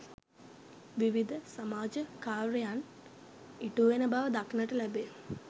විවිධ සමාජ කාර්යයන් ඉටුවෙන බව දක්නට ලැබේ.